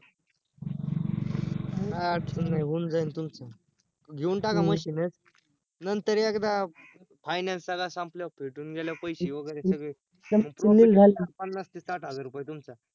अं काय अडचण नाय होऊन जाईल तुमच घेऊन टाका machine एक नंतर एकदा final सगळा संपल्यावर फिटून गेल्यावर पैशे वैगरे सगळे पन्नास ते साठ हजार रुपये तुमचा